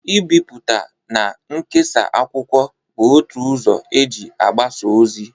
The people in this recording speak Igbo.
Ibipụta na nkesa akwụkwọ bụ otu ụzọ e ji abasa ozi.